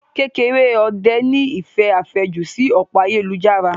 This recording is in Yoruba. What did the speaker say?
Kekereode ní ìfẹ́ àfẹ́jù sí òpó ayélujára.